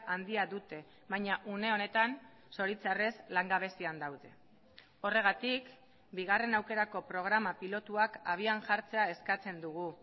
handia dute baina une honetan zoritxarrez langabezian daude horregatik bigarrena aukerako programa pilotuak abian jartzea eskatzen dugu